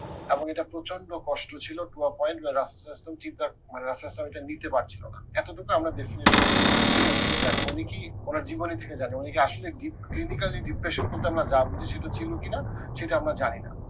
এবং এটা প্রচন্ড কষ্ট ছিল রাসাউল ইসলাম রাসাউল ইসলামএটা নিতে পারছিলো না এত খানা আমরা definitely থেকে জানি উনি কি উনার জীবনী থেকে জানি উনি কি আসলেই clinically depression বলতে আমরা যা বুঝি সেগুলো ছিল কি না, সেটা আমরা জানি না।